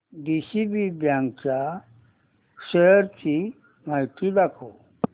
DCB bank च्या shares ची माहिती दाखव